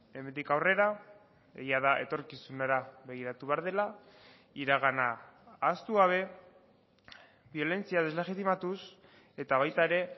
hemendik aurrera egia da etorkizunera begiratu behar dela iragana ahaztu gabe biolentzia deslegitimatuz eta baita ere